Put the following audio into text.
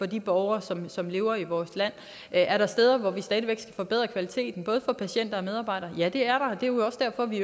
de borgere som som lever i vores land er der steder hvor vi stadig væk skal forbedre kvaliteten både for patienter og medarbejdere ja det er der og det er jo også derfor vi